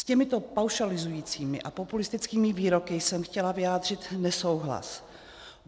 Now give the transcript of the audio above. S těmito paušalizujícími a populistickými výroky jsem chtěla vyjádřit nesouhlas.